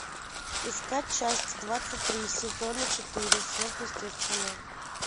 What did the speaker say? искать часть двадцать три сезона четыре сверхъестественное